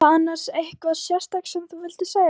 Reynir ekki að snúa hann af sér.